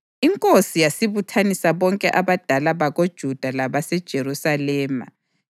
Inkosi yasibuthanisa bonke abadala bakoJuda labaseJerusalema.